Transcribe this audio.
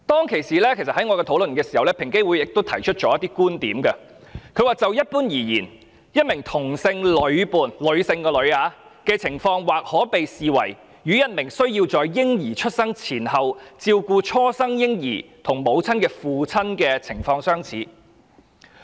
其實，平等機會委員會亦提出了一些觀點，它指出：就一般而言，一名同性女伴的情況，或可被視為與一名需要在嬰兒出生前後照顧初生嬰兒及母親的父親的情況相似。